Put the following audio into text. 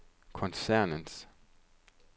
koncernens